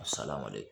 Salamale